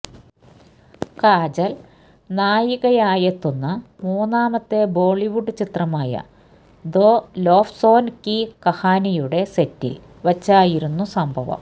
കാജല് നായികയായെത്തുന്ന മൂന്നാമത്തെ ബോളിവുഡ് ചിത്രമായ ദോ ലോഫ്സോന് കി കഹാനിയുടെ സെറ്റില് വച്ചായിരുന്നു സംഭവം